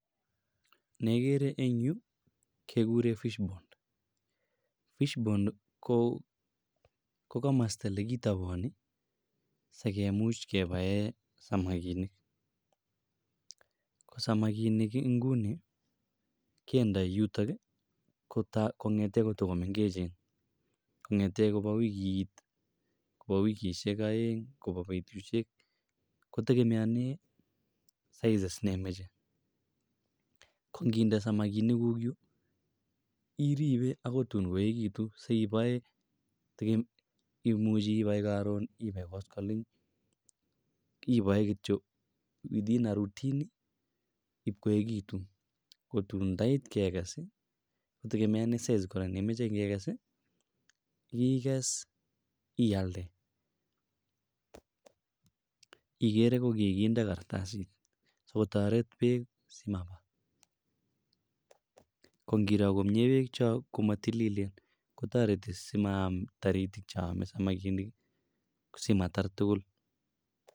Nekikere Eng yuu kekuren fish pond, fish pond ko komosto olekitoboni sikemuch kebaen samakinik, ko samakinik inguni kendoi yutok kong'eten koto ko meng'echen, kong'eten Kobo wikit, kobo wikishek oeng, Kobo betushek, kotekemeonen sizes nemoche, ko ng'inde samakinikuk yuu iribe akoi tuun koekitun siboe imuche ibai koron, ibai koskoleng, iboe kityok within a routine iib koekitun, kotun ndait kekees ii kitokemeonen sizes kora chemoche inyoikes yeikes ialde, ikere ko kikinde kartasit sikotoret beek simabaa, ko ng'iro komie beek chon komotililen kotoreti simaam toriti choome samakinik simatar tukul.